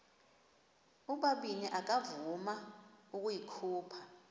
ubabini akavuma ukuyikhupha